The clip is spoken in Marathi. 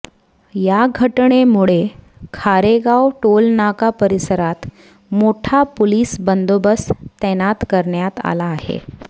या घटनेमुळे खारेगाव टोलनाका परिसरात मोठा पोलिस बंदोबस्त तैनात करण्यात आला आहे